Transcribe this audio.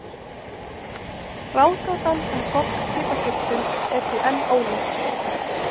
Ráðgátan um gogg piparfuglsins er því enn óleyst.